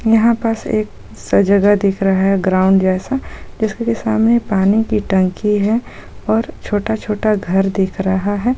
यहाँ पास एक सजगह दिख रहा है ग्राउन्ड जैसा जिसके सामने पानी की टंकी है और छोटा छोटा घर दिख रहा हैं।